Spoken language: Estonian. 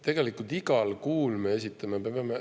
Tegelikult me esitame neid igal kuul, sest me peame.